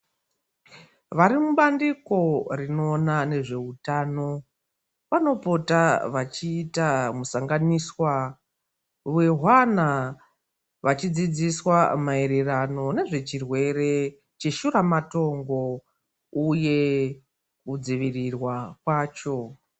Vari mubandiko rinoona nezveutano vanopota vachiita musanganiswa wehwana vachidzidziswa maererano nechirwere cheshura matongo uye kudzivirirwa kwacho.